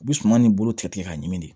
U bɛ suman nin bolo tigɛ ka ɲimi de